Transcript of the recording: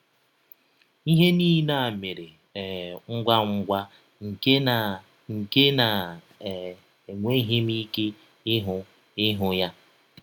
Ihe niile a mere um ngwa ngwa nke na nke na um enweghị m ike ịhụ ihụ ha.